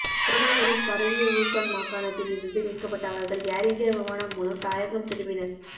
corona virus பரவிய Wuhan மாகாணத்தில் இருந்து மீட்கப்பட்ட அவர்கள் ஏர் இந்தியா விமானம் மூலம் தாயகம் திரும்பினர்